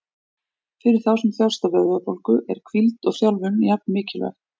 Fyrir þá sem þjást af vöðvabólgu eru hvíld og þjálfun jafn mikilvæg.